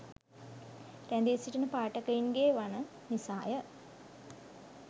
රැඳී සිටින පාඨකයින්ගේවන නිසාය.